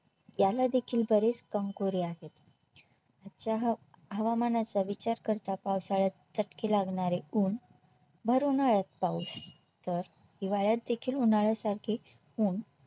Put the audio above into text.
याला देखील बरेच कंगोरे आहेत अच्छा हा हवामानाचा विचार करता पावसाळ्यात चटके लागणारे ऊन भर उन्हाळ्यात पाऊस तर हिवाळ्यात देखील उन्हाळ्या सारखी ऊन